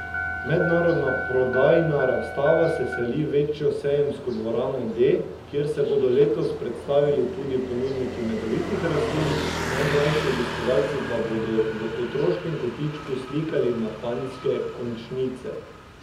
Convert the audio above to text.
Mednarodna prodajna razstava se seli v večjo sejemsko dvorano D, kjer se bodo letos predstavili tudi ponudniki medovitih rastlin, najmlajši obiskovalci pa bodo v otroškem kotičku slikali na panjske končnice.